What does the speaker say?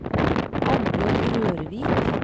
Annbjørg Rørvik